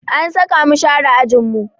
An saka mu share ajinmu